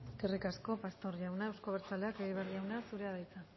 eskerrik asko pastor jauna euzko abertzaleak egibar jauna zurea da hitza